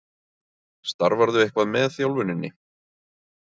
Starfarðu eitthvað með þjálfuninni?